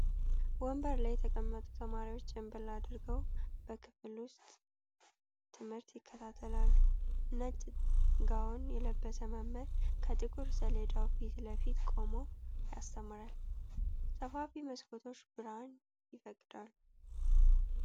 ወንበር ላይ የተቀመጡ ተማሪዎች ጭምብል አድርገው በክፍል ውስጥ ትምህርት ይከታተላሉ። ነጭ ጋውን የለበሰ መምህር ከጥቁር ሰሌዳው ፊት ለፊት ቆሞ ያስተምራል፤ ሰፋፊ መስኮቶች ብርሃን ይፈቅዳሉ።